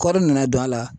Kɔri nana don a la